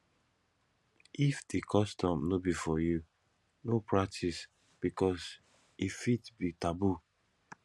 if di custom no be for you no pratice because e fit be taboo